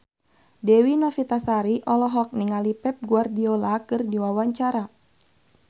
Dewi Novitasari olohok ningali Pep Guardiola keur diwawancara